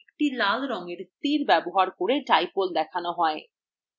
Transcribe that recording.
একটি লাল রঙের তীর ব্যবহার করে dipole দেখানো হয়